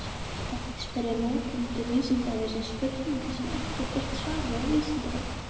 Oft spyrja notendur Vísindavefsins spurninga sem ekki er til birt svar við á Vísindavefnum.